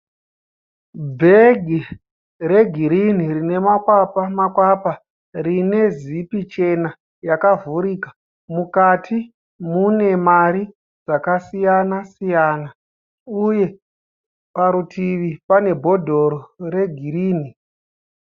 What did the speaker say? Bhegi regirini rine makwapa makwapa, rine zipi chena yakavhurika, mukati mune mari dzakasiyana siyana, uye parutivi pane bhodhoro regirini.